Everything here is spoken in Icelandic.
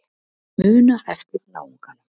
Muna eftir náunganum.